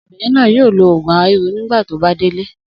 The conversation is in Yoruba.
Obìnrin náà yóò lo òògùn ara ríro nígbà tí ó bá délé.